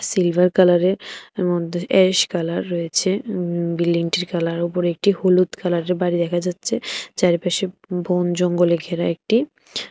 silver কালারের এর মধ্যে অ্যাশ কালার রয়েছে হু বিল্ডিংটির কালারের উপর একটি হলুদ কালারের বাড়ি দেখা যাচ্ছে চারিপাশে বন জঙ্গলে ঘেরা একটি--